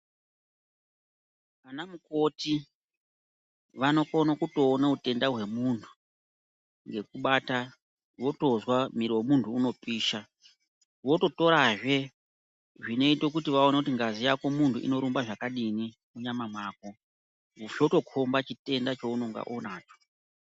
Vanamukoti vanokona kutoona utenda hwemunhu ngekubata votozwa mwiri wemunhu unopisha vototorazve zvinoite kuti vaone kuti ngazi yakomunhu inorumba zvakadini munyama mako zvotokomba chitenda chaunenge unacho.